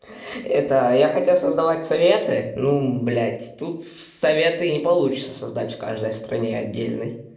это я хотел создавать советы ну блядь тут советы не получится создать в каждой стране отдельной